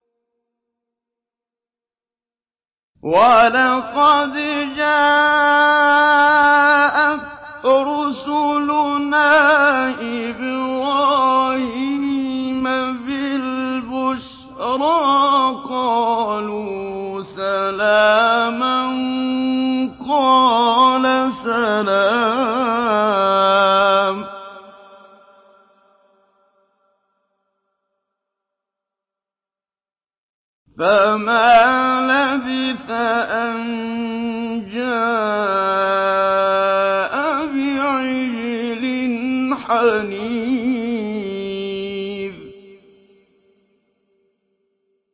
وَلَقَدْ جَاءَتْ رُسُلُنَا إِبْرَاهِيمَ بِالْبُشْرَىٰ قَالُوا سَلَامًا ۖ قَالَ سَلَامٌ ۖ فَمَا لَبِثَ أَن جَاءَ بِعِجْلٍ حَنِيذٍ